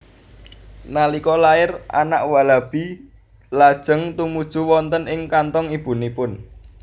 Nalika lair anak walabi lajeng tumuju wonten ing kanthong ibunipun